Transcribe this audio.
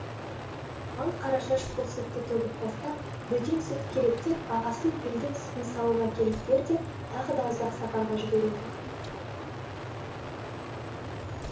ал қарашаш бұл сүтті төгіп тастап бөтен сүт керек деп ағасын пілдің сүтін сауып әкеліп бер деп тағы да ұзақ сапарға жібереді